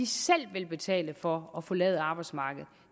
selv vil betale for at forlade arbejdsmarkedet